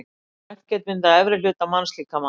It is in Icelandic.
Röntgenmynd af efri hluta mannslíkama.